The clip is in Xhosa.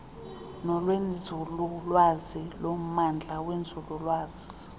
nolwenzululwazi lommandla wenzululwazi